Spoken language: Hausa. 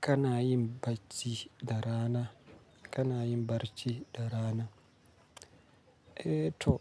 Kana yin bacci da rana? Kana yin barci da rana? Eh to,